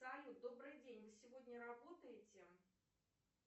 салют добрый день вы сегодня работаете